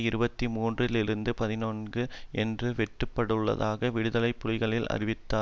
இருபத்தி மூன்று இலிருந்து பதினான்கு இற்கு வெட்டப்பட்டுள்ளதாக விடுதலை புலிகளுக்கு அறிவித்தார்